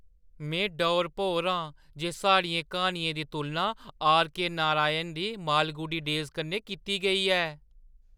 में डौर-भौर आं जे साढ़ियें क्हानियें दी तुलना आर. के. नारायण दी मालगुडी डेज़ कन्नै कीती गेई ऐ!